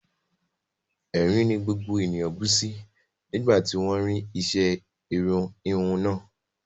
Ẹ̀rín ni gbogbo ènìyàn bú sí nígbà tí wọ́n ń ṣe irun híhun náà